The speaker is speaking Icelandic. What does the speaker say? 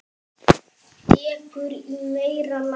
Dekur í meira lagi.